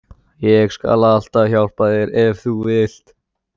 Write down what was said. Ég skal alltaf hjálpa þér ef þú vilt.